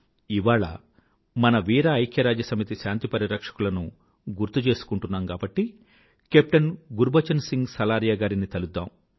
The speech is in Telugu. ఇవాళ మన వీర ఐక్యరాజ్యసమితి శాంతి పరిరక్షకులను గుర్తు చేసుకుంటున్నాం కాబట్టి కేప్టెన్ గుర్బచన్ సింగ్ సలారియా గారిని తలుద్దాం